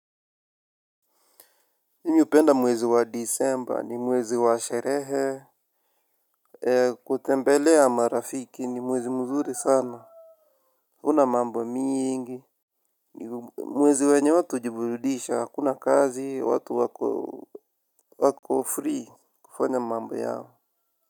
Nimependa mwezi wa december ni mwezi wa sherehe. Kutembelea marafiki ni mwezi mzuri sana hakuna mambo mingi. Mwezi wenye watu ujibudisha hakuna kazi watu wako free kufanya mambo yao.